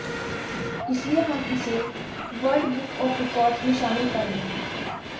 इसलिए हम इसे वर्ल्ड बुक आॅफ रिकार्ड्स में शामिल कर रहे हैं